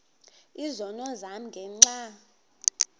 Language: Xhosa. izono zam ngenxa